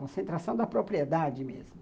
Concentração da propriedade mesmo.